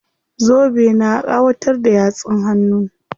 Zobe na ƙawatar da yatsun hannun.